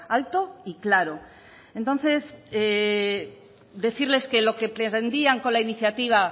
alto y claro entonces decirles que lo que pretendían con la iniciativa